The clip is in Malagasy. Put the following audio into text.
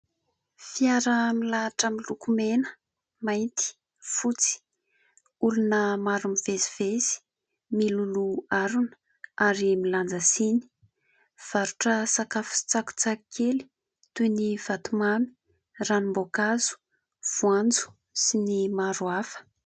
Fiara milahatra miloko mena, mainty, fotsy. Olona maro mivezivezy miloloha harona, ary milanja siny. Mivarotra sakafo sy tsakitsaky kely toy ny vatomamy, ranom-boankazo, voanjo sy ny maro hafa.